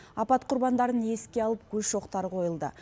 апат құрбандарын еске алып гүл шоқтары қойылды